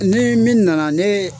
Nii min nana ne